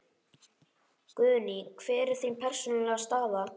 Guðný: Hver er þín persónulega staða?